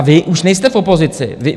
A vy už nejste v opozici.